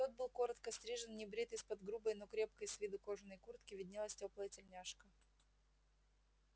тот был коротко стрижен небрит из-под грубой но крепкой с виду кожаной куртки виднелась тёплая тельняшка